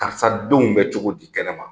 Karisa denw bɛ cogo di kɛnɛma?